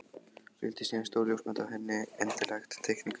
Fylgdi síðan stór ljósmynd af hinni endanlegu teikningu Guðjóns.